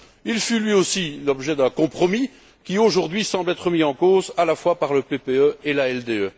Il fut, lui aussi, l'objet d'un compromis qui, aujourd'hui, semble remis en cause à la fois par le PPE et l'ALDE.